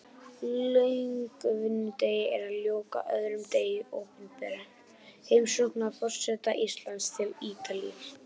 Löngum vinnudegi er að ljúka, öðrum degi opinberrar heimsóknar forseta Íslands til Ítalíu.